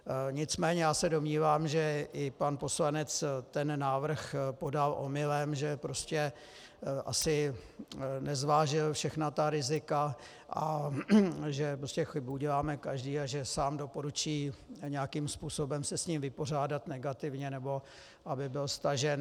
Nicméně já se domnívám, že i pan poslanec ten návrh podal omylem, že prostě asi nezvážil všechna ta rizika a že prostě chybu děláme každý a že sám doporučí nějakým způsobem se s ním vypořádat negativně, nebo aby byl stažen.